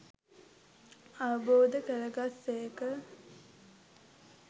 අවබෝධ කරගත් සේක